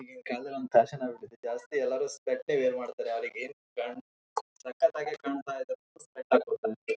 ಬಾರಿ ಚೆನ್ನಾಗಿರುವ ಒಳ್ಳೆ ಒಳ್ಳೆ ಬುಕ್ ಗಳು ಇದಾವೆ ಅಲ್ಲಿ.